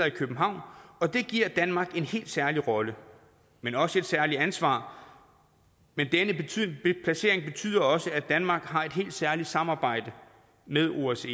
i københavn og det giver danmark en helt særlig rolle men også et særligt ansvar men denne placering betyder også at danmark har et helt særligt samarbejde med osce